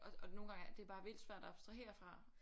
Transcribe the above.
Og nogle gange det er bare vildt svært at abstrahere fra